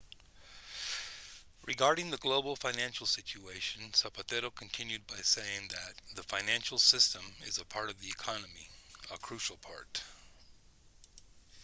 regarding the global financial situation zapatero continued by saying that the financial system is a part of the economy a crucial part